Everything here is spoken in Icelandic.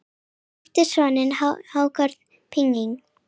Hann átti soninn Hákon Píning.